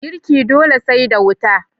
Girki dole sai da wuta.